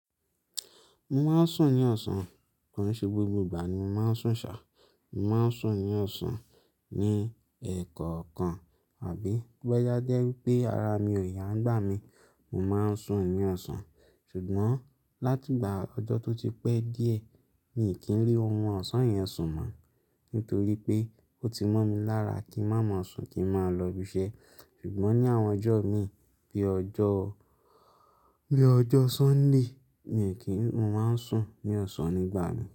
Mo máa ń sùn ní ọ̀sán, ko n ṣe gbogbo ìgbà ni mo máa ń sùn ṣá, mo máa ń sùn ní ọ̀sán ní ẹ̀ẹ̀kọ̀kan àbí to ba je wípé ara mi ò yá ń gbà mí, mo máa ń sùn ní ọ̀sán. Ṣùgbọ́n láti ìgbà ọjọ́ tó ti pẹ́ díẹ̀ mi kì í ri orun ọ̀sán yẹn sùn mọ́ nítorí pé ó ti mọ́ mi lára kí ń máa má sùn kí ń máa lọ ibiṣẹ́. Ṣùgbọ́n ní àwọn ọjọ́ mi bí i ọjọ́, bí i ọjọ́ Sunday mi kì í, mo máa ń sùn ní ọ̀sán nígbà náà.